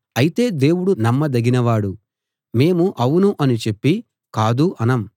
అయితే దేవుడు నమ్మదగినవాడు మేము అవును అని చెప్పి కాదు అనం